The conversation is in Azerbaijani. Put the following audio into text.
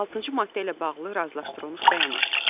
Altıncı maddə ilə bağlı razılaşdırılmış bəyanat.